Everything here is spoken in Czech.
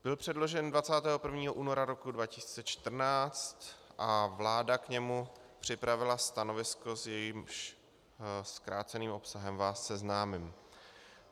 Byl předložen 21. února roku 2014 a vláda k němu připravila stanovisko, s jehož zkráceným obsahem vás seznámím.